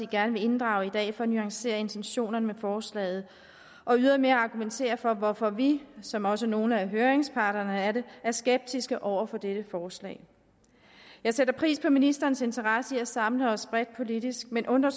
gerne vil inddrage i dag for at nuancere intentionerne med forslaget og ydermere argumentere for hvorfor vi som også nogle af høringsparterne er det er skeptiske over for dette forslag jeg sætter pris på ministerens interesse for at samle os bredt politisk men undrer